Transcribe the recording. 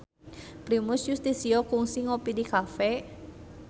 Primus Yustisio kungsi ngopi di cafe